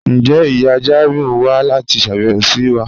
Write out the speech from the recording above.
Njẹ iya Jamiu n wa lati ṣabẹwo si wa?